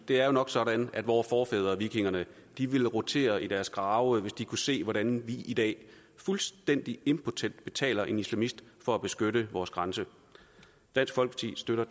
det er jo nok sådan at vore forfædre vikingerne ville rotere i deres grave hvis de kunne se hvordan vi i dag fuldstændig impotent betaler en islamist for at beskytte vores grænse dansk folkeparti støtter